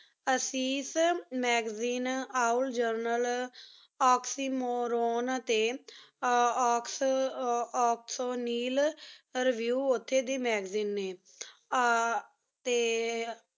ਅਸੀਸ magazine all journal oxymoron ਟੀ ਓਕ੍ਸੋਨਿਲ ਰੇਵਿਯੂ ਓਥੀ ਦੇ review ਨੀ ਆ ਟੀ